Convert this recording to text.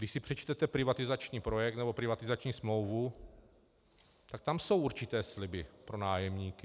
Když si přečtete privatizační projekt nebo privatizační smlouvu, tak tam jsou určité sliby pro nájemníky.